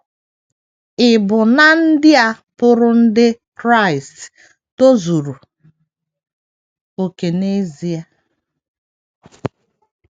Ì bu ná ndị a pụrụ ndị Kraịst tozuru okè n’ezie?